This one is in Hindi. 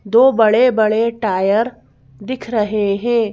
दो बड़े-बड़े टायर दिख रहे हैं।